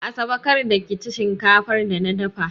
Asabe, kar da ki ci shinkafar da na dafa!